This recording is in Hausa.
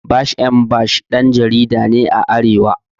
Bash M Bash ɗan jarida ne a arewa